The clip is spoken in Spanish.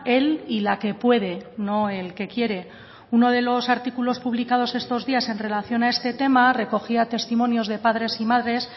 el y la que puede no el que quiere uno de los artículos publicados estos días en relación a este tema recogía testimonios de padres y madres